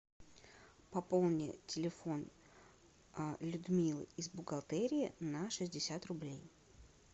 пополни телефон людмилы из бухгалтерии на шестьдесят рублей